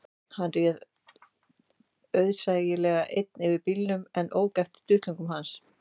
Hann réð auðsæilega einn yfir bílnum sem ók eftir duttlungum hans